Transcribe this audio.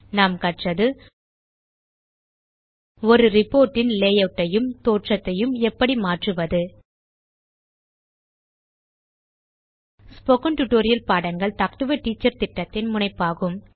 நாம் கற்றது ஒரு ரிப்போர்ட் இன் லேயூட் ஐயும் தோற்றத்தையும் எப்படி மாற்றுவது ஸ்போகன் டுடோரியல் பாடங்கள் டாக் டு எ டீச்சர் திட்டத்தின் முனைப்பாகும்